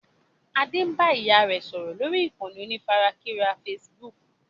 Adé ń bá ìyá rẹ sọ̀rọ̀ lórí ìkànnì onífarakínra Facebook